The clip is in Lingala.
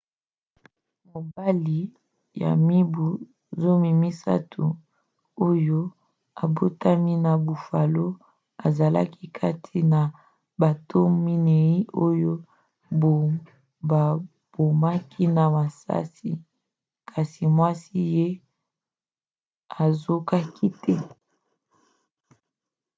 mobali ya mibu 30 oyo abotamaki na buffalo azalaki kati na bato minei oyo babomaki na masasi kasi mwasi na ye azokaki te